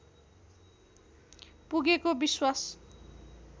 पुगेको विश्वास